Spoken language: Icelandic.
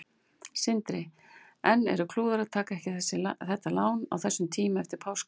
Sindri: En var klúður að taka ekki þetta lán á þessum tíma eftir páska?